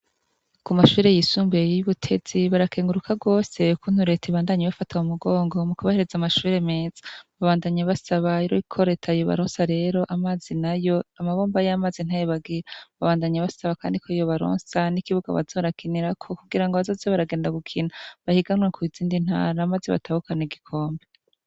Ku mashuri yisumbuye y'ibutezi barakenguruka rwose kukuntu rete ibandanye ibafata mumugongo mu kubahereza amashure meza babandanye basaba rero ko reta yobaronsa rero amazi na yo amabomba y'amazi ntaye bagira babandanye basaba kandi ko yiyo baronsa n'ikibuga bazoza bakinirako kugira ngo bazoze baragenda gukina bahiganwe ku izindi ntara maze batahukana igikombe.